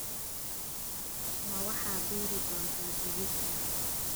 Ma waxaad beeri doontaa digirta?